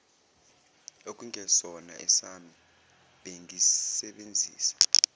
okungesona esami bengisebenzisa